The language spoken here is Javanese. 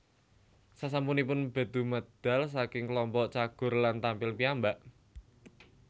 Sasampunipun Bedu medal saking klompok Cagur lan tampil piyambak